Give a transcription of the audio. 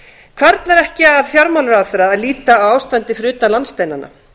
hvarflar ekki að fjármálaráðherra að líta á ástandið fyrir utan landsteinana